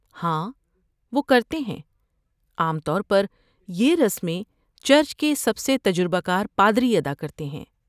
ہاں، وہ کرتے ہیں۔ عام طور یہ رسمیں چرچ کے سب تجربہ کار پادری ادا کرتے ہیں